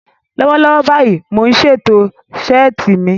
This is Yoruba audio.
Lọ́wọ́lọ́wọ́ báyìí, mò ń ṣètò ṣẹ́ẹ̀tì mi